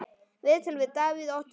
Viðtöl við Davíð Oddsson